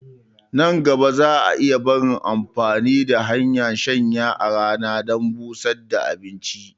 Nan gaba za a iya barin amfani da hanyar shanya a rana dan busar da abinci